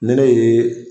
Ne ne ye